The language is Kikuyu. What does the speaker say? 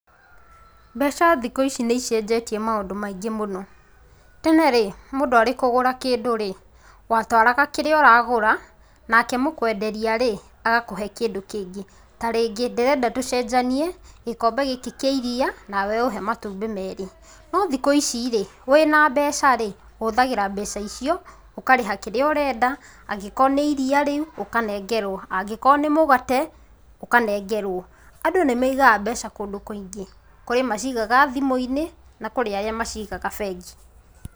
Mbeca thikũ ici nĩicenjetie maũndũ maingi muno, tene ri mũndũ arĩ kũgũra kĩndũ rĩ ,watwaraga kĩrĩa ũragũra nake mũkwenderia rĩ agakũhe kĩndũ kĩngĩ tarĩngĩ ndĩrenda tũcenjanie gĩkombe gĩkĩ kĩa iriia nawe ũhe matumbĩ merĩ. Nothikũ ici rĩ wĩna mbeca rĩ ũhũthagĩra mbeca icio ũkareha kĩrĩa ũrenda angĩkorwo nĩ iriia rĩu ũkanengerwa, angĩkorwo nĩ mũgate, ũkanengerwo. Andũ nĩmaigaga mbeca kũndũ kũingĩ mangĩ macigaga thimũinĩ na arĩa macigaga bengi .